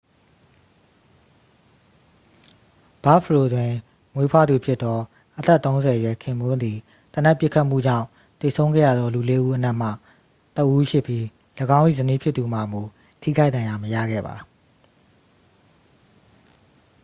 ဘာ့ဖလို တွင်မွေးဖွားသူဖြစ်သော အသက်-၃၀-အရွယ် ခင်ပွန်းသည် သေနတ်ပစ်ခတ်မှုကြောင့်သေဆုံးခဲ့ရသောလူလေးဦးအနက်မှ တစ်ဦးဖြစ်ပြီး ၎င်း၏ဇနီးဖြစ်သူမှာမူ ထိခိုက်ဒဏ်ရာမရခဲ့ပါ။